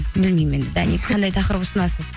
білмеймін енді даник қандай тақырып ұсынасыз